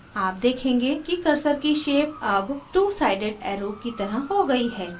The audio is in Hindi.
आप देखेंगे कि cursor की shaped अब twosided arrow की तरह हो गयी है